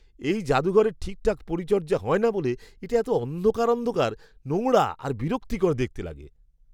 এই জাদুঘরের ঠিকঠাক পরিচর্যা হয় না বলে এটা এতো অন্ধকার অন্ধকার, নোংরা আর বিরক্তিকর দেখতে লাগে।